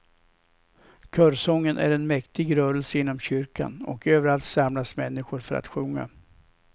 Körsången är en mäktig rörelse inom kyrkan och överallt samlas människor för att sjunga.